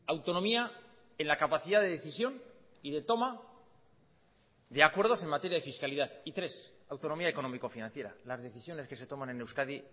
autonomía en la capacidad de decisión y de toma de acuerdos en materia de fiscalidad y tres autonomía económico financiera las decisiones que se toman en euskadi